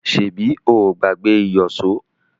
Ṣebí o ò gbàgbé ìyọ̀ṣo?